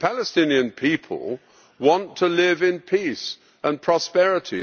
The Palestinian people want to live in peace and prosperity.